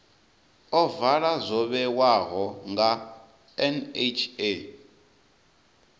ovala zwo vhewaho nga nha